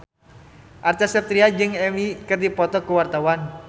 Acha Septriasa jeung Eminem keur dipoto ku wartawan